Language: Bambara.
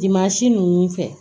ninnu fɛ